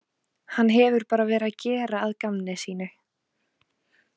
Hann hefur bara verið að gera að gamni sínu.